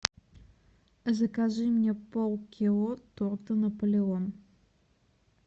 закажи мне пол кило торта наполеон